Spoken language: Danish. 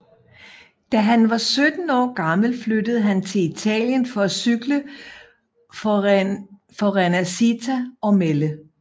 Da han var 17 år gammel flyttede han til Italien for at cykle for Rinascita Ormelle